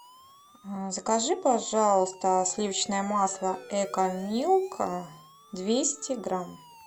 закажи пожалуйста сливочное масло экомилк двести грамм